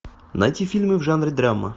найти фильмы в жанре драма